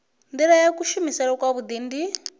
nila ya kuvhusele kwavhui ndi